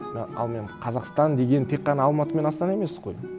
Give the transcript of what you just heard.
но ал мен қазақстан деген тек қана алматы мен астана емес қой